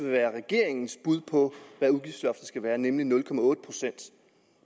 at være regeringens bud på hvad udgiftsloftet skal være nemlig nul procent